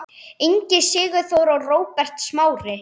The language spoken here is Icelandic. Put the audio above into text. Ingi Sigþór og Róbert Smári.